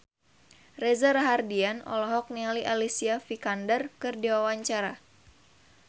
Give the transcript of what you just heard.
Reza Rahardian olohok ningali Alicia Vikander keur diwawancara